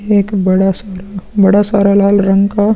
एक बड़ा सारा बड़ा सारा लाल रंग का --